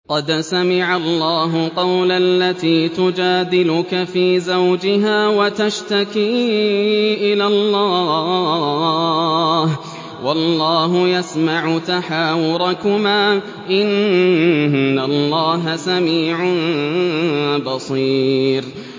قَدْ سَمِعَ اللَّهُ قَوْلَ الَّتِي تُجَادِلُكَ فِي زَوْجِهَا وَتَشْتَكِي إِلَى اللَّهِ وَاللَّهُ يَسْمَعُ تَحَاوُرَكُمَا ۚ إِنَّ اللَّهَ سَمِيعٌ بَصِيرٌ